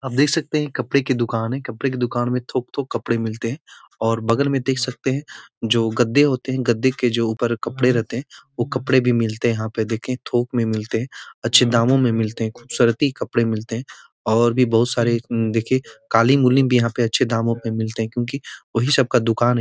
आप देख सकते हैं कपड़े की दुकान है। कपड़े की दुकान में थोक-थोक कपड़े मिलते हैं और बगल में देख सकते हैं जो गद्दे होते हैं। गद्दे के जो ऊपर कपड़े रहते हैं वो कपड़े भी मिलते हैं यहाँ पे देखिए थोक में मिलते हैं अच्छे दामों में मिलते हैं खूबसूरती कपड़े मिलते हैं और भी बोहोत बोहत सारे यहाँ पे कालीन कुलीन भी यहाँ पे अच्छे दामों पे मिलते हैं क्यूंकी वही सब का दुकान --